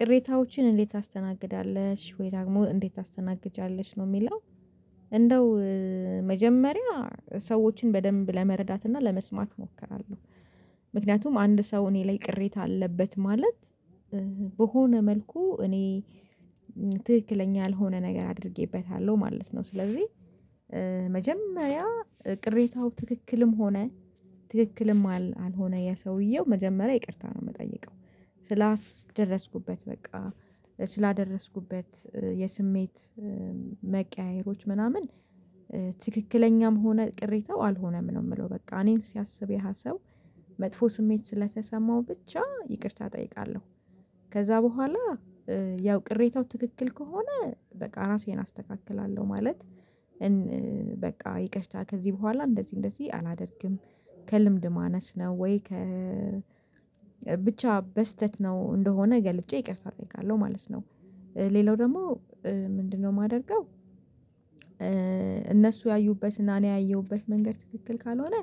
ቅሬታዎችን እንዴት ታስተናግዳለሽ ወይ ደግሞ እንዴት ታስተናግጂያለሽ ነው የሚለው? እንደው መጀመሪያ ሰዎችን በደንብ ለመረዳት እና ለመስማት እሞክራለሁ። ምክንያቱም አንድ ሰው እኔ ላይ ቅሬታ አለበት ማለት በሆነ መልኩ እኔ ትክክለኛ ያልሆነ ነገር አድርጌበታለሁ ማለት ነው። ስለዚህ መጀመሪያ ቅሬታው ትክክልም ሆነ ትክክልም አልሆነ ያ ሰውየው መጀመሪያ ይቅርታ ነው የምጠይቀው ስላስደረስኩበት በቃ ስላደረስኩበት የስሜት መቀያየሮች ምናምን ትክክለኛም ሆነ ቅሬታው አልሆነም ነው የምለው። በቃ እኔን ሲያስብ ያህ ሰው መጥፎ ስሜት ስለተሰማው ብቻ ይቅርታ እጠይቃለሁ። ከዛ በኋላ ያው ቅሬታው ትክክል ከሆነ በቃ ራሴን አስተካክላለሁ ማለት። በቃ ይቅርታ ከዚህ በኋላ እንደዚህ እንደዚህ አላደርግም። ከልምድ ማነስ ነው ወይ ከ ብቻ በስህተት ነው እንደሆነ ገልጬ ይቅርታ እጠይቃለሁ ማለት ነው። ሌላው ደግሞ ምንድነው? የማደርገው እነሱ ያዩበትና እኔ ያየሁበት መንገድ ትክክል ካልሆነ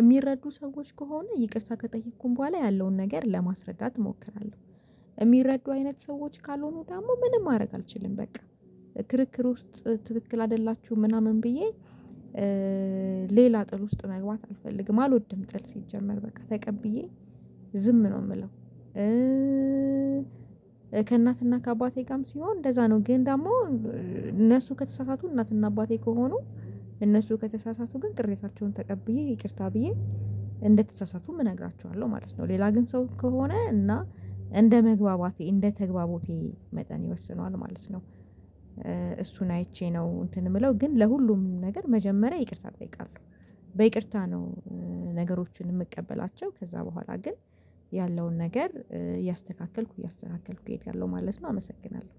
የሚረዱ ሰዎች ከሆነ ይቅርታ ከጠየኩኝ በኋላ ያለውን ነገር ለማስረዳት እሞክራለሁ። የሚረዱ አይነት ሰዎች ካልሆኑ ደግሞ ምንም ማድረግ አልችልም። በቃ ክርክር ውስጥ ትክክል አይደላችሁም ምናምን ብዬ ሌላ ጥል ውስጥ መግባት አልፈልግም አልወድም ጥል ሲጀመር በቃ ተቀብዬ ዝም ነው የምለው። ከእናትና ከአባቴ ጋም ሲሆን እንደዛ ነው ግን ደግሞ እነሱ ከተሳሳቱ እናትና አባቴ ከሆኑ እነሱ ከተሳሳቱ ግን ቅሬታቸውን ተቀብዬ ይቅርታ ብዬ እንደተሳሳቱም እነግራችኋለሁ ማለት ነው። ሌላ ግን ሰው ከሆነ እና እንደመግባባቴ እንደተግባቦቴ መጠን ይወስነዋል ማለት ነው። እሱን አይቼ ነው እንትን የምለው ግን ለሁሉም ነገር መጀመሪያ ይቅርታ እጠይቃለሁ በይቅርታ ነው። ነገሮችን የምቀበላቸው ከዛ በኋላ ግን ያለውን ነገር እያስተካከልኩ እያስተካከልኩ እሄዳለሁ ማለት ነው። አመሰግናለሁ